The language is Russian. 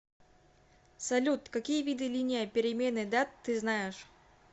салют какие виды линия перемены дат ты знаешь